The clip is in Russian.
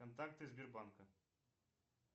контакты сбербанка